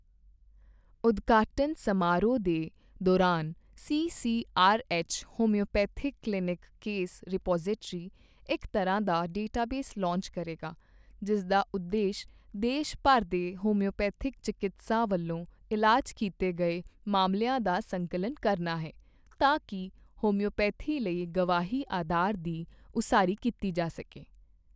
ਉਦਘਾਟਨ ਸਮਾਰੋਹ ਦੇ ਦੌਰਾਨ CCRH, homoeopathic clinical case repository, ਇਕ ਤਰ੍ਹਾਂ ਦਾ ਡੇਟਾਬੇਸ ਲਾਂਚ ਕਰੇਗਾ ਜਿਸਦਾ ਉਦੇਸ਼ ਦੇਸ਼ ਭਰ ਦੇ ਹੋਮਿਓਪੇਥੀ ਚਿਕੀਤਸਾਂ ਵੱਲੋਂ ਇਲਾਜ ਕੀਤੇ ਗਏ ਮਾਮਲਿਆਂ ਦਾ ਸੰਕਲਨ ਕਰਨਾ ਹੈ ਤਾਂ ਕੀ ਹੋਮਿਓਪੇਥੀ ਲਈ ਗਵਾਹੀ ਆਧਾਰ ਦੀ ਉਸਾਰੀ ਕੀਤੀ ਜਾ ਸਕੇ।